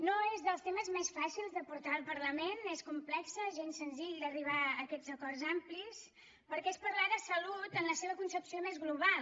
no és dels temes més fàcils de portar al parlament és complex gens senzill d’arribar a aquests acords amplis perquè és parlar de salut en la seva concepció més global